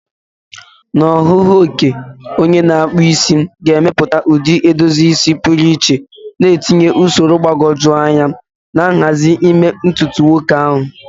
Na ọhụụ okike, onye na-akpụ isi ga-emepụta ụdị edozi isi pụrụ iche, na-etinye usoro mgbagwoju anya na nhazi n'ime ntutu nwoke ahụ.